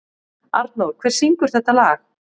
Arnór, hver syngur þetta lag?